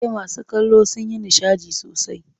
E, masu kallo sun yi nishadi sosai.